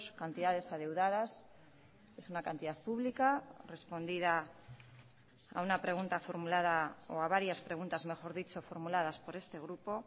cantidades adeudadas es una cantidad pública respondida a una pregunta formulada o a varias preguntas mejor dicho formuladas por este grupo